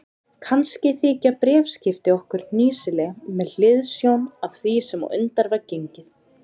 Kannski þykja bréfaskipti okkar hnýsileg með hliðsjón af því sem á undan var gengið.